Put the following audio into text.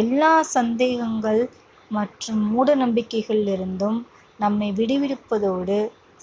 எல்லா சந்தேகங்கள் மற்றும் மூடநம்பிக்கைகளிலிருந்தும் நம்மை விடுவிப்பதோடு